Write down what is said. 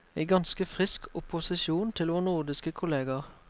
I ganske frisk opposisjon til vår nordiske kolleger.